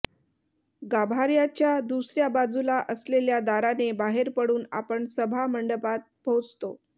गाभार्याच्या दुसर्या बाजूला असलेल्या दाराने बाहेर पडून आपण सभा मंडपात पोहचतो